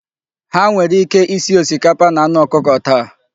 Ha nwere ike isi osikapa na anụ ọkụkọ taa.